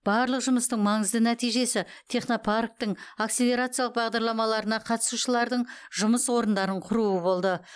барлық жұмыстың маңызды нәтижесі технопарктің акселерациялық бағдарламаларына қатысушылардың жұмыс орындарын құруы болды